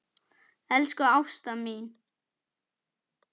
Elsku Ásta mín.